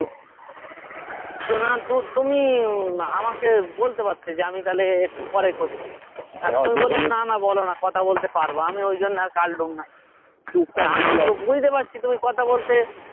তো না তো তুমি উম আমাকে বলতে পড়তে যে আমি তাহলে একটু পরে করছি না না বলো না কথা বলতে পারবো আমি ঐজন্য আর কাটলুম না কিন্তু বুঝতে পারছি তুমি কথা বলতে